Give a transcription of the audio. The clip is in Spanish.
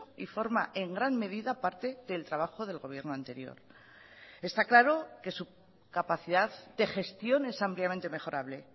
y forma en gran medida parte del trabajo del gobierno anterior está claro que su capacidad de gestión es ampliamente mejorable